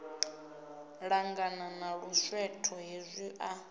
ṱangana na luswetho hezwi a